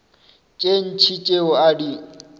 tše ntši tšeo a di